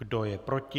Kdo je proti?